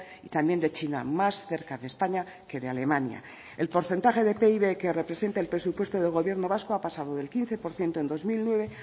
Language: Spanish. y también de china más cerca de españa que de alemania el porcentaje de pib que representa el presupuesto del gobierno vasco ha pasado del quince por ciento en dos mil nueve